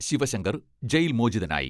Sivasankar jail മോചിതനായി..